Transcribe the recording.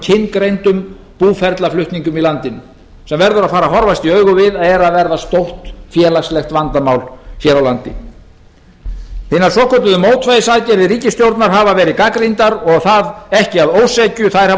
og kyngreindum búferlaflutningum í landinu sem verður að fara að horfast í augu við að er að verða stórt félagslegt vandamál hér á landi hinar svokölluðu mótvægisaðgerðir ríkisstjórnar hafa verið gagnrýndar og það ekki að ósekju þær hafa